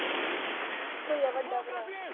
ਇੱਕੋ ਈ ਆ ਵੱਡਾ ਭਰਾ